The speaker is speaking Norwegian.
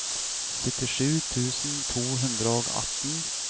syttisju tusen to hundre og atten